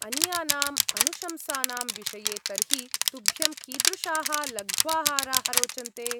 अन्यानाम् अनुशंसानां विषये तर्हि, तुभ्यं कीदृशाः लघ्वाहाराः रोचन्ते?